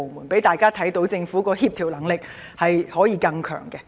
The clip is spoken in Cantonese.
請讓大家看到政府的協調能力可以更強。